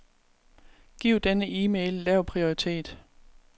Giv denne e-mail lav prioritet.